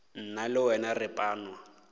nna le wena re panwa